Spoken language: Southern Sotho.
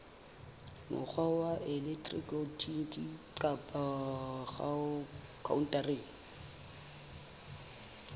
mokgwa wa elektroniki kapa khaontareng